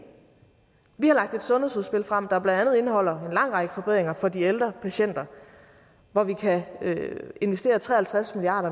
vi har lagt et sundhedsudspil frem der blandt andet indeholder en lang række forbedringer for de ældre patienter hvor vi kan investere tre og halvtreds milliard